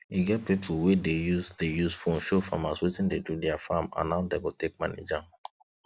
e get pipo wey dey use dey use phone show farmers wetin de do their farm and how dem go take manage am